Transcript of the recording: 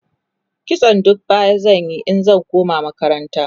kitson duka baya zan Yi in zan koma makaranta